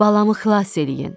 Balamı xilas eləyin.